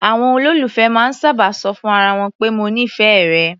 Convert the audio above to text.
Àwọn olólùfẹ́ máa ń sábà ṣọ fún ara wọn pé "mo nífẹ̀ẹ́ rẹ".